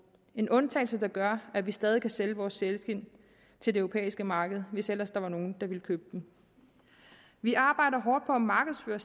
en undtagelse der gør at vi stadig kan sælge vores sælskind til det europæiske marked hvis ellers nogen ville købe dem vi arbejder hårdt på at markedsføre